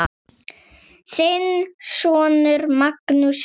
Þinn sonur, Magnús Helgi.